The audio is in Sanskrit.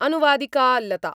अनुवादिका लता